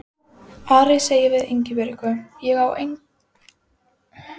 Ari sagði við Ingibjörgu: Ég á enga skyrtu hreina.